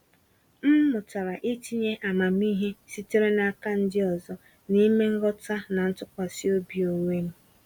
M mụtara itinye amamihe sitere n’aka ndị ọzọ n’ime nghọta na ntụkwasị obi onwe m.